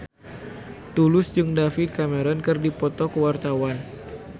Tulus jeung David Cameron keur dipoto ku wartawan